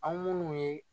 Aw munnu ye